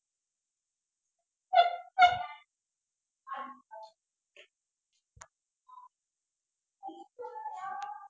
ਆ